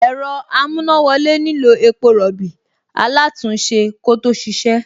Ẹ̀rọ amúnáwọlé nílò epo rọ̀bì alátùn-únṣe kó tó ṣíṣe